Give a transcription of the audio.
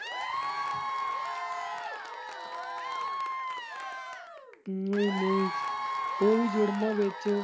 ਨਹੀਂ ਨਹੀਂ ਓਵੀਂ ਜੁੜਨਾ ਵਿੱਚ।